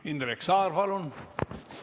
Indrek Saar, palun!